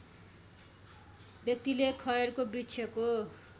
व्यक्तिले खयरको वृक्षको